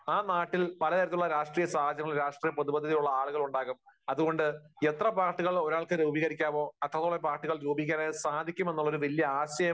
ആ നാട്ടിൽ പലതരത്തിലുള്ള രാഷ്ട്രീയ സാഹചര്യങ്ങളും, രാഷ്ട്രീയ പ്രതിബദ്ധതയുള്ള ആളുകളും ഉണ്ടാകും. അതുകൊണ്ട് എത്ര പാർട്ടികൾ ഒരാൾക്ക് രൂപീകരിക്കാമോ, അത്രത്തോളം പാർട്ടികൾ രൂപീകരിക്കാൻ കഴിയും എന്ന ഒരു വലിയ ആശയം